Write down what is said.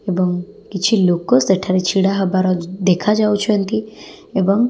ଏବଂ କିଛି ଲୋକ ସେଠାରେ ଛିଡ଼ା ହେବାର ଦେଖାଯାଉଛନ୍ତି ଏବଂ --